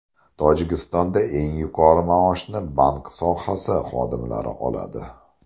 Tojikistonda eng yuqori maoshni bank sohasi xodimlari oladi.